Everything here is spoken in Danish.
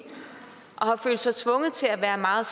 og har følt sig tvunget til at være meget